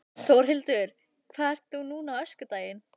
Þórhildur: Hvað ert þú núna á öskudaginn?